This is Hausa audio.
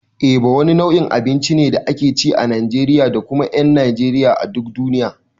Eba wani nau'in abinci ne da ake ci a Najeriya da kuma ƴan Najeriya a duk duniya.